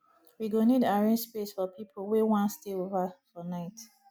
we go need arrange space for people wey wan stay over for night